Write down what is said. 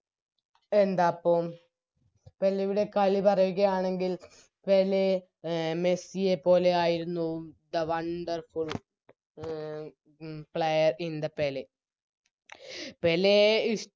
എന്താപ്പം പെലെയുടെ കളിപറയുകയാണെങ്കിൽ പെലെ അഹ് മെസ്സിയെപ്പോലെയായിരുന്നു Wonderful player in the Pele